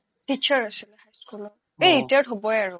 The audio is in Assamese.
teacher আছিলে high school এই retired হ্'বয়ে আৰু